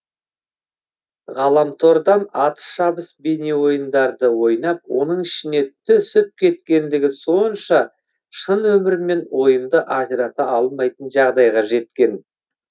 ғаламтордан атыс шабыс бейнеойындарды ойнап оның ішіне түсіп кеткендігі сонша шын өмірмен ойынды ажырата алмайтын жағдайға жеткен